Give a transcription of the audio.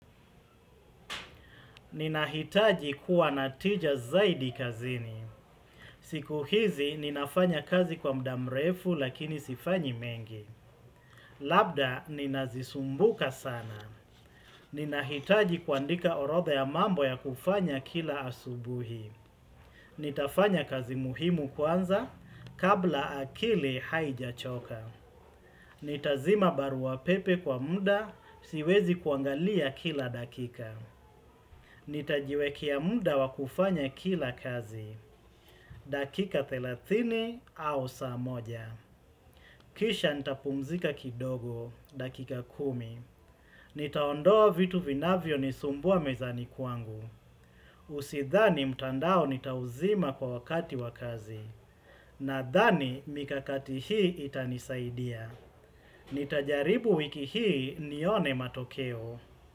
Ninahitaji kuwa na tija zaidi kazini. Siku hizi ninafanya kazi kwa muda mrefu lakini sifanyi mengi. Labda ninazisumbuka sana. Ninahitaji kuandika orodha ya mambo ya kufanya kila asubuhi. Nitafanya kazi muhimu kwanza kabla akili haijachoka. Nitazima baruapepe kwa muda siwezi kuangalia kila dakika Nitajiwekea muda wa kufanya kila kazi dakika 30 au saa moja Kisha nitapumzika kidogo dakika 10 Nitaondoa vitu vinavyonisumbua mezani kwangu Usidhani mtandao nitauzima kwa wakati wa kazi Nadhani mikakati hii itanisaidia Nitajaribu wiki hii nione matokeo.